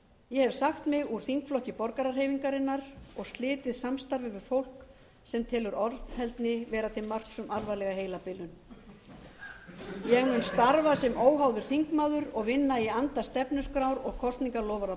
ég hef sagt mig úr þingflokki borgarahreyfingarinnar og slitið samstarfi við fólk sem telur orðheldni vera til marks um alvarlega heilabilun ég mun starfa sem óháður þingmaður og vinna í anda stefnuskrár og kosningaloforða